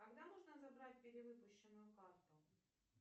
когда можно забрать перевыпущенную карту